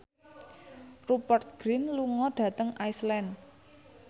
Rupert Grin lunga dhateng Iceland